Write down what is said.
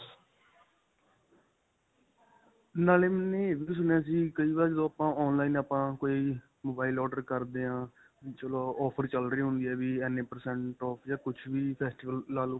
ਨਾਲੇ ਇਹ ਵੀ ਸੁਣਿਆ ਸੀ. ਕਈ ਵਾਰ ਜਦੋਂ ਆਪਾਂ online ਕੋਈ mobile order ਕਰਦੇ ਹਾਂ, ਚਲੋ offer ਚੱਲ ਰਹੀ ਹੁੰਦੀ ਹੈ ਵੀ ਇੰਨੇ percent off ਜਾਂ ਕੁੱਝ ਵੀ festival ਲਾ ਲੋ.